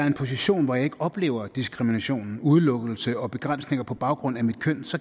en position hvor jeg ikke oplever diskrimination udelukkelse og begrænsninger på baggrund af mit køn